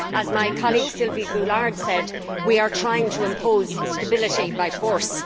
As my colleague Sylvie Goulard said, we are trying to impose stability by force.